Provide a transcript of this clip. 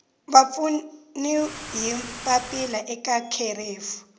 vapfuni hi papila eka kherefu